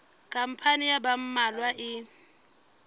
khampani ya ba mmalwa e